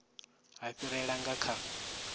ha fhirela nga kha zwa